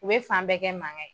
U bɛ fan bɛɛ kɛ mankan ye.